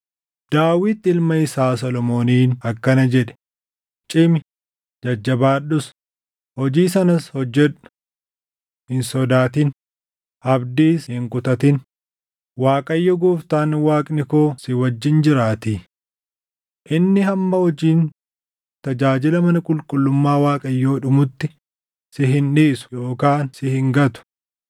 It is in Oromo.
Daawit ilma isaa Solomooniin akkana jedhe; “Cimi; jajjabaadhus; hojii sanas hojjedhu. Hin sodaatin; abdiis hin kutatin; Waaqayyo Gooftaan Waaqni koo si wajjin jiraatii. Inni hamma hojiin tajaajila mana qulqullummaa Waaqayyoo dhumutti si hin dhiisu yookaan si hin gatu.